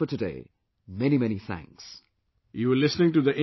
That is all for today, many many thanks